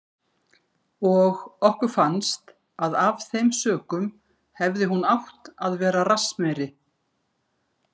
Og okkur fannst að af þeim sökum hefði hún átt að vera rassmeiri.